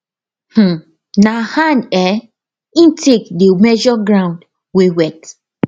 um na hand um him take dey measure ground wey wet